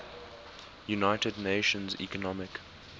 united nations economic